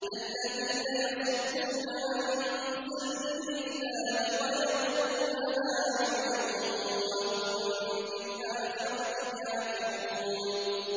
الَّذِينَ يَصُدُّونَ عَن سَبِيلِ اللَّهِ وَيَبْغُونَهَا عِوَجًا وَهُم بِالْآخِرَةِ كَافِرُونَ